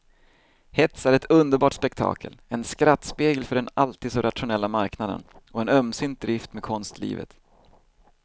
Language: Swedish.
Hets är ett underbart spektakel, en skrattspegel för den alltid så rationella marknaden och en ömsint drift med konstlivet.